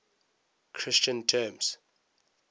christian terms